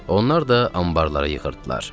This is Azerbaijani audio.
Onlar da anbarlara yığırdılar.